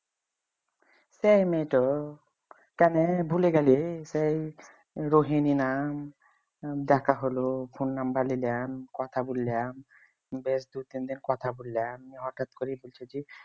সেই মেয়েটা কেনে ভুলে গেলি সেই রোহিনী নাম দেখা হল phone number নিলাম কথা বললাম বেশ দুই তিনদিন কথা বললাম। হঠাৎ করে বলছে যে